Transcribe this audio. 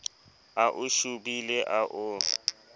a o shobile a o